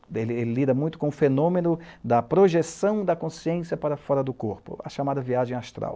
Porque ele lida muito com o fenômeno da projeção da consciência para fora do corpo, a chamada viagem astral.